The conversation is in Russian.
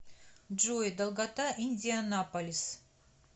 джой долгота индианаполис